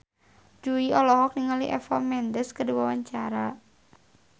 Jui olohok ningali Eva Mendes keur diwawancara